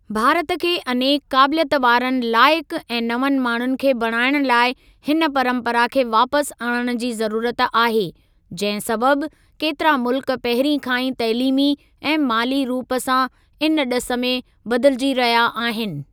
भारत खे अनेक क़ाबिलियत वारनि लाइकु ऐं नवनि माण्हुनि खे बणाइण लाइ हिन परम्परा खे वापसि आणण जी ज़रूरत आहे, जंहिं सबबि केतिरा मुल्क पहिरीं खां ई तइलीमी ऐं माली रूप सां इन ॾिस में बदिलिजी रहिया आहिनि।